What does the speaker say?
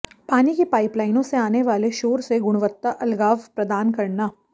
पानी की पाइपलाइनों से आने वाले शोर से गुणवत्ता अलगाव प्रदान करना